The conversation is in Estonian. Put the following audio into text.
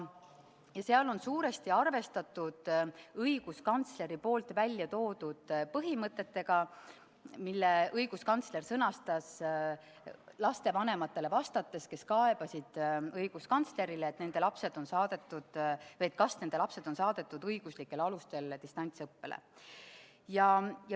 Selles on suuresti arvestatud õiguskantsleri välja toodud põhimõtetega, mille ta sõnastas, vastates lapsevanematele, kes soovisid õiguskantslerilt teada saada, kas nende lapsed on saadetud distantsõppele õiguslikel alustel.